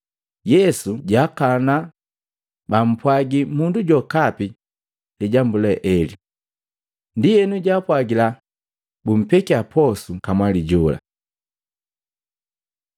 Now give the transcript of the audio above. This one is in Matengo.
Yesu jaakana bampwagi mundu jokapi lijambu le ele. Ndienu jaapwagila bupekia posu kamwali we jola.